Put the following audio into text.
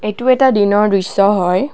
এইটো এটা দিনৰ দৃশ্য হয়।